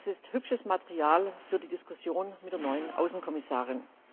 Das ist hübsches Material für die Diskussion mit der neuen Außenkommissarin.